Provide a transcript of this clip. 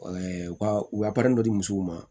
u ka u ka dɔ di musow ma